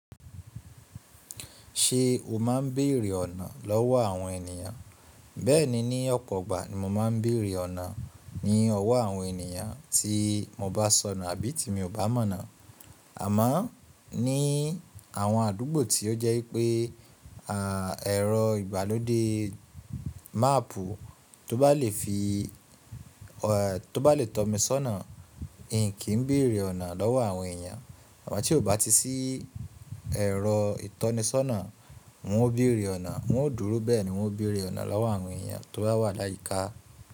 Ṣe o ma ń beere ọ̀nà lọ́wọ́ àwọn ènìyàn? Bẹ́ẹ̀ni, ní ọ̀pọ̀ ọgbà ni mo ma ń béèrè ọ̀nà ní ọwọ́ àwọn ènìyàn tí mo bá sọnù àbí ti mi ò bá mọ̀nà Àmọ́ ní àwọn àdúgbò tí ó jẹ́ pé ẹ̀rọ ìgbàlóde máàpù, tó bá lè fi tó bá lè tọ́ mi sọ́nà, n kì í béèrè ọ̀nà lọ́wọ́ àwọn èèyàn. Àmọ́ tí ò bá ti sí ẹ̀rọ ìtọ́nisọ́nà, n ó béèrè ọ̀nà, n ó dúró bẹ́ẹ̀ ni n ó béèrè ọ̀nà lọ́wọ́ àwọn èèyàn tó bá wà láyíká.